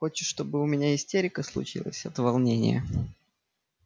хочешь чтобы у меня истерика случилась от волнения